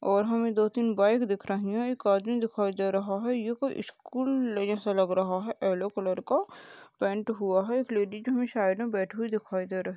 -- और हमें दो तीन बाइक दिख रही है एक आदमी दिखाई दे रहा है ये कोई स्कूल ले जैसा लग रहा है येलो कलर का पैंट हुआ है एक लेडीज हमें साइड में बैठी हुई दिखाई दे रह--